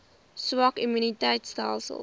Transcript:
swak immuun stelsels